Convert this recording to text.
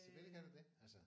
Selvfølgelig kan det det altså